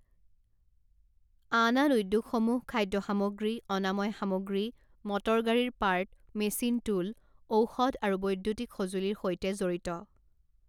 আন আন উদ্যোগসমূহ খাদ্য সামগ্ৰী, অনাময় সামগ্ৰী, মটৰগাড়ীৰ পাৰ্ট, মেচিন টুল, ঔষধ, আৰু বৈদ্যুতিক সঁজুলিৰ সৈতে জড়িত।